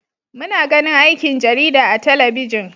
Muna ganin aikin jarida a talabijin.